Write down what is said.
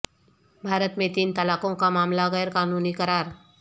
بھارت میں تین طلاقوں کا معاملہ غیر قانونی قرار